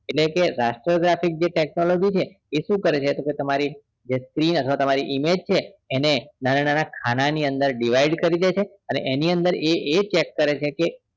એટલે કે raster graphics જે technology શું કરે છે જે તમારી જે image છે એને નાના નાના ખાના ની અંદર divided કરી દે છે અને એની અંદર એ હજી એ cheak કરે છે